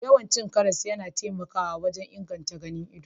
Yawan cin karas yana taimakawa wajen inganta ganin ido